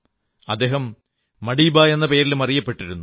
അദ്ദേഹം മഡീബാ എന്ന പേരിലും അറിയപ്പെടുന്നു